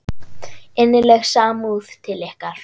Innileg samúð til ykkar.